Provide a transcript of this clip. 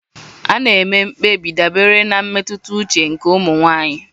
A na-eme mkpebi dabere na mmetụta uche nke ụmụ nwanyị.